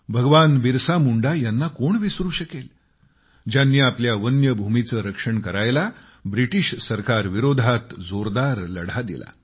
भगवान बिरसा मुंडा यांना कोण विसरू शकेल ज्यांनी आपल्या वन्य भूमीचे रक्षण करायला ब्रिटीश सरकारविरोधात जोरदार लढा दिला